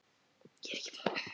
Hver er sinnar gæfu smiður